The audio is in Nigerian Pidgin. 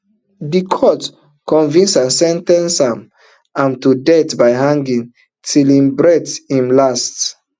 di court convict and sen ten ce am am to death by hanging till im breath im last